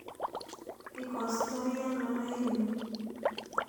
Ikostoi ano raini?